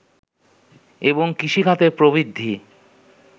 এবং কৃষি খাতের প্রবৃদ্ধি